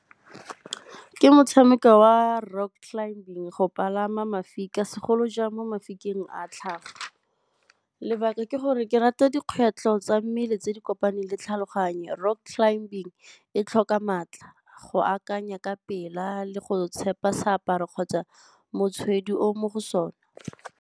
Ke motshameko wa rock climbing, go palama mafika segolojang mo mafikeng a tlhago. Lebaka ke gore ke rata dikgwetlho tsa mmele tse di kopaneng le tlhaloganyo, rock climbing e tlhoka maatla go akanya ka pela le go tshepa seaparo kgotsa o o mo go sone.